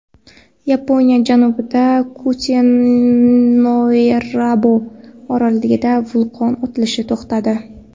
Yaponiya janubidagi Kutinoerabu orolidagi vulqon otilishi to‘xtadi.